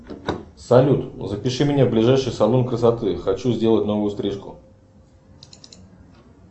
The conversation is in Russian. салют запиши меня в ближайший салон красоты хочу сделать новую стрижку